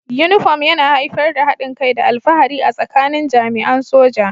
Uniform yana haifar da haɗin kai da alfahari a tsakanin jami'an soja